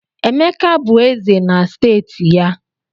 Emeka bụ Eze na steeti ya